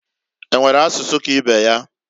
E nwere asụsụ ka ibe ya?